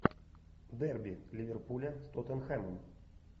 дерби ливерпуля с тоттенхэмом